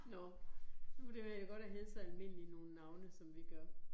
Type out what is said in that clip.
Nåh, nu det være godt at hedde sådan nogle almindelige navne, som vi gør